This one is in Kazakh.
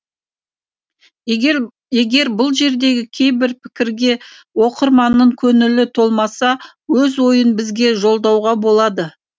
егер бұл жердегі кейбір пікірге оқырманның көңілі толмаса өз ойын бізге жолдауға болады